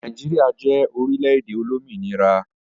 Nigeria je orile-ede olominira.